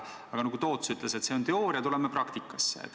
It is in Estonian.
Aga nagu Toots ütles, see on teooria, tuleme praktikasse.